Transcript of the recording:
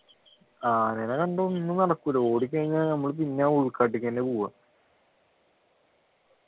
ആനേനകണ്ടാ ഒന്നും നടക്കൂല ഓടിക്കഴിഞ്ഞ നമ്മള് പിന്നെ ആ ഉൾക്കാട്ടിലേക്ക് തന്നെയാ പോവുക